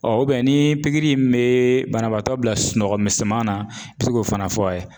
ni pikiri in bee banabaatɔ bila sunɔgɔ misɛman na i bɛ se k'o fana fɔ a ye.